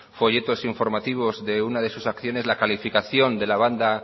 folletos informativos de una de sus acciones la calificación de la banda